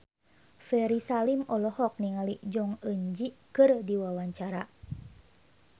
Ferry Salim olohok ningali Jong Eun Ji keur diwawancara